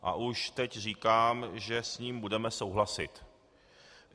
A už teď říkám, že s ním budeme souhlasit.